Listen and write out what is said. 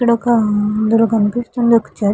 ఇక్కడ ఒక అందులో కనిపిస్తుంది ఒక చర్చి --